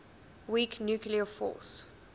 weak nuclear force